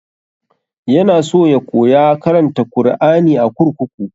Ya na so ya koya karanta kur'ani a kurkuku